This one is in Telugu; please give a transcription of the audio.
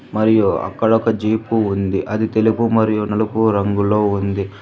మరియు అక్కడ ఒక జీపు ఉంది అది తెలుగు మరియు నలుపు రంగులో ఉంది.